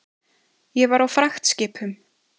Ég var á fragtskipum.